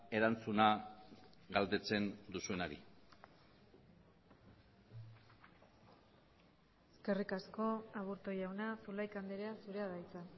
erantzuna galdetzen duzunari eskerrik asko aburto jauna zulaika andrea zurea da hitza